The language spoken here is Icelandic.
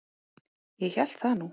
Ég hélt það nú.